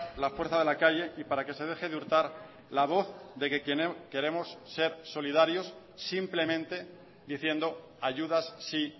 la fuerza de la calle y para que se deje de hurtar la voz de que queremos ser solidarios simplemente diciendo ayudas sí